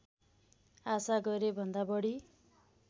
आशा गरेभन्दा बढी